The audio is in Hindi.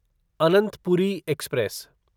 अनंतपुरी एक्सप्रेस